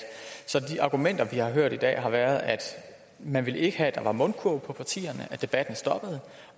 at de argumenter vi har hørt i dag har været at man ikke ville have at der var mundkurv på partierne at debatten stoppede